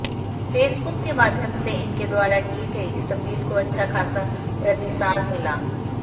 Facebook के माध्यम से इनके द्वारा की गई इस अपील को अच्छा खासा प्रतिसाद मिला